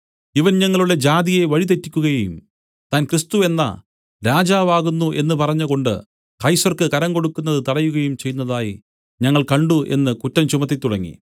ഇവൻ ഞങ്ങളുടെ ജാതിയെ വഴി തെറ്റിക്കുകയും താൻ ക്രിസ്തു എന്ന രാജാവാകുന്നു എന്നു പറഞ്ഞുകൊണ്ട് കൈസർക്ക് കരം കൊടുക്കുന്നത് തടയുകയും ചെയ്യുന്നതായി ഞങ്ങൾ കണ്ട് എന്നു കുറ്റം ചുമത്തിത്തുടങ്ങി